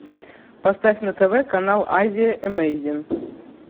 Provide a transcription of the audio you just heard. поставь на тв канал азия эмейзин